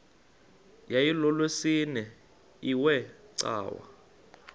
yayilolwesine iwe cawa